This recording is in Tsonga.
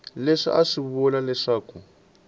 leswi a swi vula leswaku